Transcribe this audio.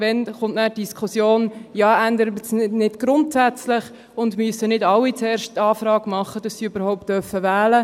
Wann folgt die Diskussion, «Ändert es sich nicht grundsätzlich, und müssen nicht alle zuerst eine Anfrage machen, damit sie überhaupt wählen dürfen?»?